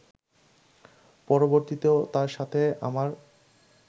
পরবর্তীতেও তার সাথে আমার